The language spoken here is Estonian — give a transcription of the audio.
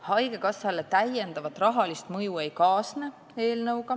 Haigekassale eelnõuga täiendavat rahalist mõju ei kaasne.